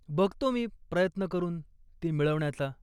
बघतो मी प्रयत्न करून ती मिळवण्याचा.